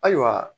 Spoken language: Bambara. Ayiwa